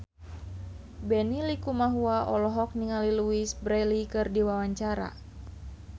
Benny Likumahua olohok ningali Louise Brealey keur diwawancara